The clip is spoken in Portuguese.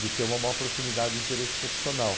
de ter uma maior proximidade do interesse profissional.